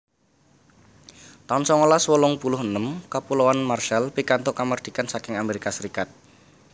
taun songolas wolung puluh enem Kapuloan Marshall pikantuk kamardikan saking Amérika Sarékat